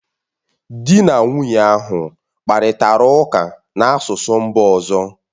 Di na nwunye ahụ kparịtara ụka n’asụsụ mba ọzọ